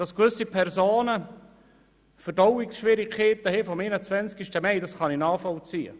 Dass gewisse Personen Verdauungsschwierigkeiten wegen dem 21. Mai haben, kann ich nachvollziehen.